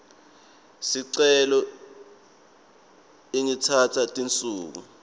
sicelo ingatsatsa tinsuku